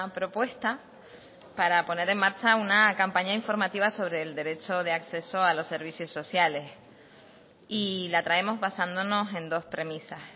propuesta para poner en marcha una campaña informativa sobre el derecho de acceso a los servicios sociales y la traemos basándonos en dos premisas